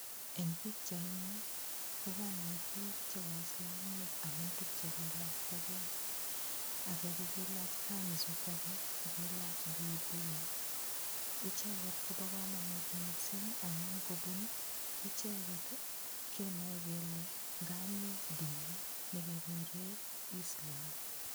Eng' pikchaini kokanai biik che waislamiek amun tukche kiilaktagei ake kokiilach kanzu ko ake ko kiilach buibui icheget kobo komonut mising' amun kobun icheget kenoe kele ngami dini nekekure Islam